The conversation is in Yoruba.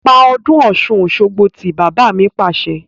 Pa ọdún Ọ̀sun-Osogbo tí! Bàbá mi Pàṣẹ.